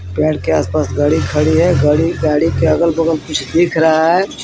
Paid के आसपास गाड़ी खड़ी है गाड़ी गाड़ी के अगल-बगल कुछ दिख रहा है.